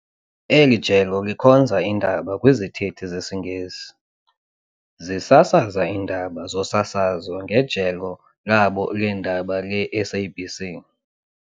Eli jelo likhonza iindaba kwizithethi zesiNgesi, zisasaza iindaba zosasazo ngejelo labo leendaba leSABC.